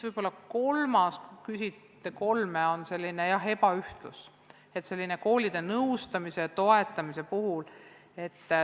Ja kolmandaks – te küsisite kolme – on ebaühtlus koolide nõustamisel ja toetamisel.